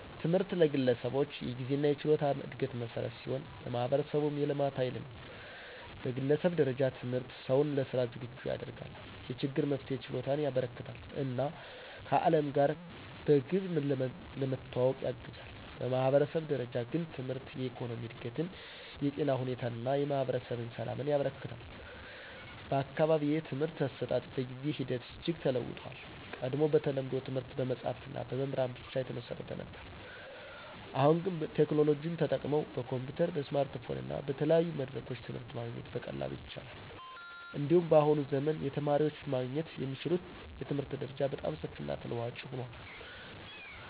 ትምህርት ለግለሰቦች የግንዛቤና የችሎታ እድገት መሠረት ሲሆን፣ ለማህበረሰቡም የልማት ኃይል ነው። በግለሰብ ደረጃ ትምህርት ሰውን ለሥራ ዝግጁ ያደርጋል፣ የችግር መፍትሄ ችሎታን ያበረከትለታል እና ከዓለም ጋር በግብ ለመዋወቅ ያግዛል። በማህበረሰብ ደረጃ ግን ትምህርት የኢኮኖሚ እድገትን፣ የጤና ሁኔታን እና የማህበረሰብ ሰላምን ያበረክታል። በአካባቢዬ የትምህርት አሰጣጥ በጊዜ ሂደት እጅግ ተለውጦአል። ቀድሞ በተለምዶ ትምህርት በመጽሀፍትና በመምህራን ብቻ ላይ የተመሰረተ ነበር። አሁን ግን ቴክኖሎጂ ተጠቅመው በኮምፒዩተር፣ በስማርትፎን እና በተለያዩ መድረኮች ትምህርት ማግኘት በቀላሉ ይቻላል። እንዲሁም በአሁኑ ዘመን የተማሪዎች ማግኘት የሚችሉት የትምህርት መረጃ በጣም ሰፊና ተለዋዋጭ ሆኗል።